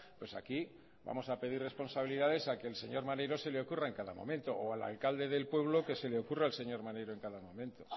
pues aquí vamos a pedir responsabilidades a quien al señor maneiro se le ocurra en cada momento o al alcalde del pueblo que se le ocurra al señor maneiro en cada momento